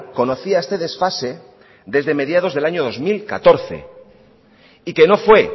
conocía este desfase desde mediados del año dos mil catorce y que no fue